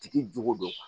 Tigi jogo don